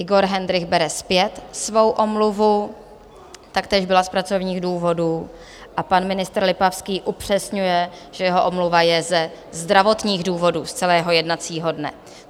Igor Hendrych bere zpět svou omluvu, taktéž byla z pracovních důvodů, a pan ministr Lipavský upřesňuje, že jeho omluva je ze zdravotních důvodů z celého jednacího dne.